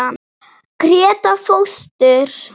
Gréta fóstur.